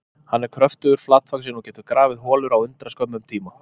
Hann er kröftugur, flatvaxinn og getur grafið holur á undraskömmum tíma.